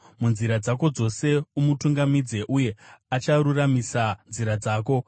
munzira dzako dzose umutungamidze, uye acharuramisa nzira dzako.